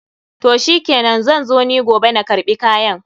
Toh shikenan, zan zo ni giobe na karɓi kayan.